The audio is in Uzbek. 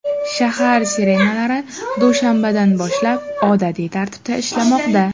Shahar sirenalari dushanbadan boshlab odatiy tartibda ishlamoqda.